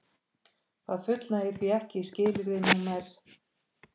Það fullnægir því ekki skilyrði nr